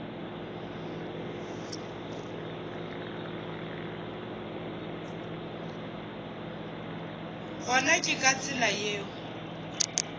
gona ke ka tsela yeo